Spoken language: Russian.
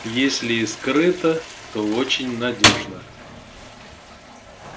если и скрыто то очень надёжно